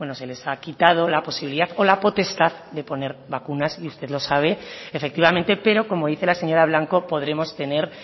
se les ha quitado la posibilidad o la potestad de poner vacunas y usted lo sabe efectivamente pero como dice la señora blanco podremos tener